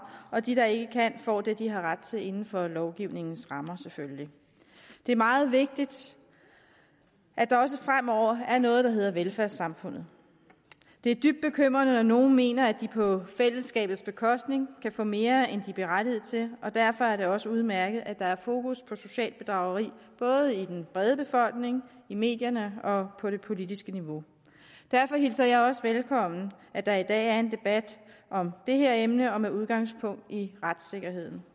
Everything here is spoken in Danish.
og de der ikke kan får det de har ret til inden for lovgivningens rammer selvfølgelig det er meget vigtigt at der også fremover er noget der hedder velfærdssamfundet det er dybt bekymrende at nogle mener at de på fællesskabets bekostning kan få mere end de er berettiget til og derfor er det også udmærket at der er fokus på socialt bedrageri både i den brede befolkning i medierne og på det politiske niveau derfor hilser jeg også velkommen at der i dag er en debat om det her emne og med udgangspunkt i retssikkerheden